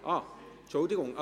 – Ach, Entschuldigung.